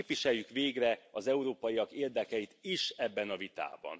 Képviseljük végre az európaiak érdekeit is ebben a vitában!